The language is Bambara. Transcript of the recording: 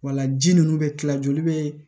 Wala ji ninnu bɛ kila joli bɛ